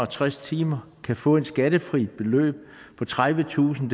tres timer kan få et skattefrit beløb på tredivetusind